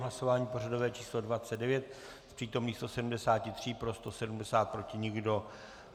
Hlasování pořadové číslo 29, z přítomných 173 pro 170, proti nikdo.